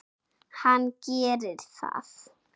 Hann gerir það.